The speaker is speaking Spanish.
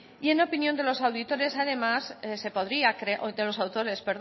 y en opinión de los auditores además se podría creo de los autores